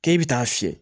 K'e bɛ taa fiyɛ